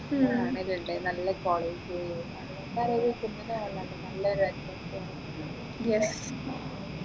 ഞാൻ കാണലുണ്ട് നല്ല college നല്ലൊരു atmosphere ഇങ്ങനെ